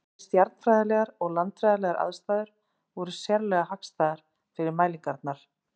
Bæði stjarnfræðilegar og landfræðilegar aðstæður voru sérlega hagstæðar fyrir mælingarnar.